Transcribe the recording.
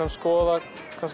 að skoða